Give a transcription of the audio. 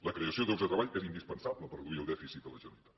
la creació de llocs de treball és indispensable per reduir el dèficit de la generalitat